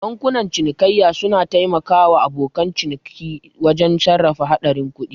Bankunan cinikayya suna taimaka wa abokan ciniki wajen sarrafa haɗarin kuɗi.